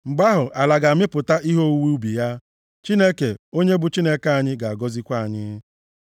Mgbe ahụ, ala ga-amịpụta ihe owuwe ubi ya, Chineke, onye bụ Chineke anyị, ga-agọzikwa anyị.